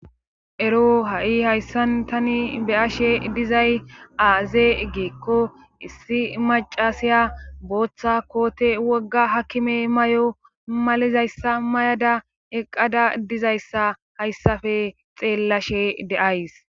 ero ha7i hayssan tani be7ashe dizay aaze giikko issi macasiya booththa koote wogga hakkime mayo malizayssa mayada eqqada dizayssa hayssafe xeellashe de7ays.